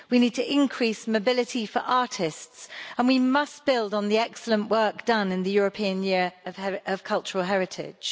We need to increase mobility for artists, and we must build on the excellent work done in the European Year of Cultural Heritage.